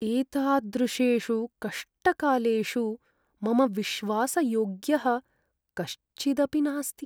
एतादृशेषु कष्टकालेषु मम विश्वासयोग्यः कश्चिदपि नास्ति।